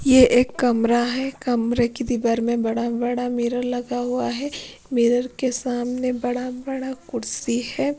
ये एक कमरा है कमरे की दीवार में बड़ा बड़ा मिरर लगा हुआ है मिरर के सामने बड़ा बड़ा कुर्सी है।